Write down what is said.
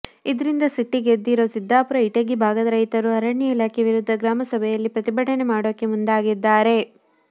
ಇದ್ರಿಂದ ಸಿಟ್ಟಿಗೆದ್ದಿರೋ ಸಿದ್ದಾಪುರ ಇಟಗಿ ಭಾಗದ ರೈತರು ಅರಣ್ಯ ಇಲಾಖೆ ವಿರುದ್ಧ ಗ್ರಾಮಸಭೆಯಲ್ಲಿ ಪ್ರತಿಭಟನೆ ಮಾಡೋಕೆ ಮುಂದಾಗಿದ್ದಾರೆ